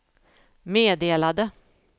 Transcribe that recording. meddelade